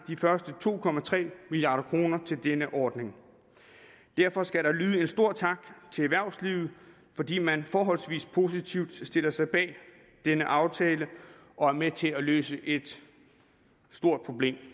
de første to milliard kroner til denne ordning derfor skal der lyde en stor tak til erhvervslivet fordi man forholdsvis positivt stiller sig bag denne aftale og er med til at løse et stort problem